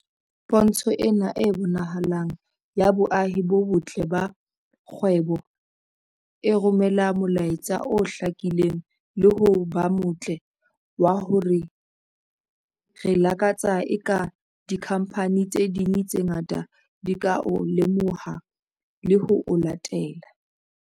Pontsho ena e bonahalang ya boahi bo botle ba kgwebo e romela molaetsa o hlakileng le ho ba motle wa hore re lakatsa eka dikhamphani tse ding tse ngata di ka o lemoha le ho o latela.